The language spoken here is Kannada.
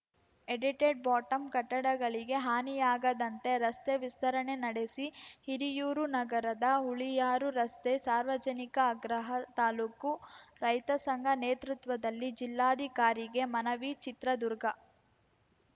ಎಡಿಟೆಡ್‌ಬಾಟಂ ಕಟ್ಟಡಗಳಿಗೆ ಹಾನಿಯಾಗದಂತೆ ರಸ್ತೆ ವಿಸ್ತರಣೆ ನಡೆಸಿ ಹಿರಿಯೂರು ನಗರದ ಹುಳಿಯಾರು ರಸ್ತೆ ಸಾರ್ವಜನಿಕ ಆಗ್ರಹ ತಾಲೂಕು ರೈತ ಸಂಘ ನೇತೃತ್ವದಲ್ಲಿ ಜಿಲ್ಲಾಧಿಕಾರಿಗೆ ಮನವಿ ಚಿತ್ರದುರ್ಗ